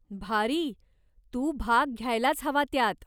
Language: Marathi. भारी! तू भाग घ्यायलाच हवा त्यात.